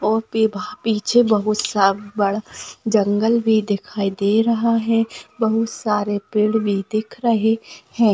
पीछे बहुत सा बड़ा जंगल भी दिखाई दे रहा है बहुत सारे पेड़ भी दिख रहे है।